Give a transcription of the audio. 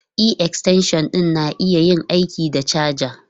E, extension ɗin na iya yin aiki da caja.